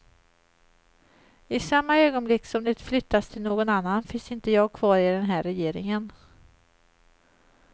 I samma ögonblick som det flyttas till någon annan finns inte jag kvar i den här regeringen.